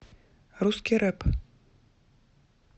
русский рэп